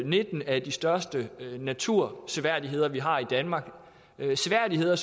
nitten af de største naturseværdigheder vi har i danmark nogle seværdigheder